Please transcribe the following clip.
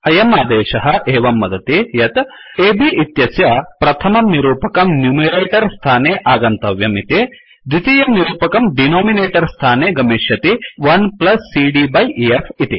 अयम् आदेशः एवं वदति यत् अब् इत्यस्य प्रथमं निरूपकं न्युमेरेटोर् स्थाने आगन्तव्यम् इति द्वितीयम् निरूपकं डिनोमिनेटोर् स्थाने गमिश्यति 1CD बाय ईएफ इति